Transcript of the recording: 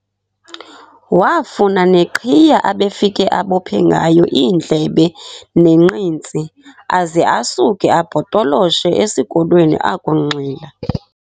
Waafuna neqhiya abefike abophe ngayo iindlebe nenqintsi, aze asuke abhotoloshe esikolweni akunxila.